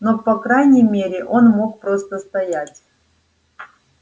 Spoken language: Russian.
но по крайней мере он мог просто стоять